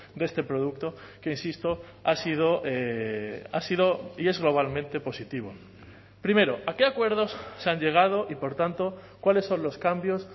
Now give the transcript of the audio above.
de este producto que insisto ha sido ha sido y es globalmente positivo primero a qué acuerdos se han llegado y por tanto cuáles son los cambios